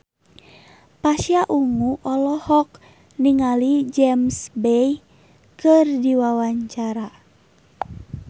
Pasha Ungu olohok ningali James Bay keur diwawancara